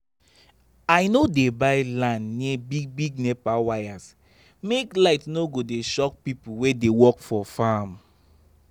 i no dey buy land near big-big nepa wires make light no go dey shock people wey dey work for farm.